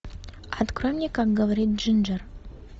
открой мне как говорит джинджер